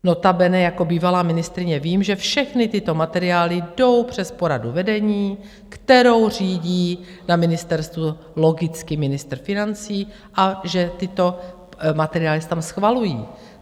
Notabene jako bývalá ministryně vím, že všechny tyto materiály jdou přes poradu vedení, kterou řídí na ministerstvu logicky ministr financí, a že tyto materiály se tam schvalují.